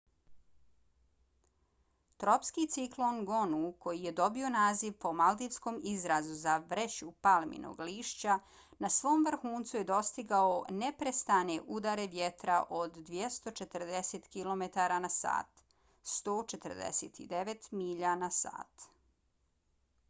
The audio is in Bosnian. tropski ciklon gonu koji je dobio naziv po maldivskom izrazu za vreću palminog lišća na svom vrhuncu je dostigao neprestane udare vjetra od 240 kilometara na sat 149 milja na sat